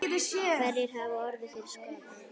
Hverjir hafa orðið fyrir skaða?